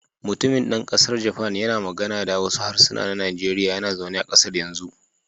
Mutumin dan kasar Japan yana magana da wasu harsunan Nijeriya yana zaune a kasar yanzu.